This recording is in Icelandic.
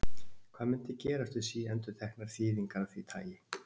Hvað mundi gerast við síendurteknar þýðingar af því tagi?